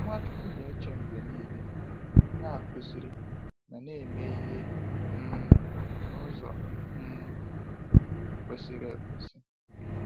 Nwachukwu na-eche mgbe niile, na-akụziri, ma na-eme ihe um n'ụzọ um kwesịrị ekwesị.